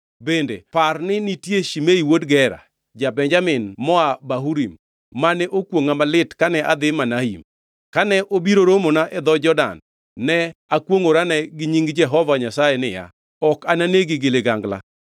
Bende par, ni nitie Shimei wuod Gera, ja-Benjamin moa Bahurim mane okwongʼa malit kane adhi Mahanaim. Kane obiro romona e dho Jordan, ne akwongʼorane gi nying Jehova Nyasaye niya, Ok ananegi gi ligangla.